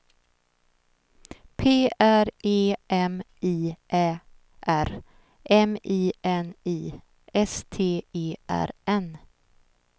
P R E M I Ä R M I N I S T E R N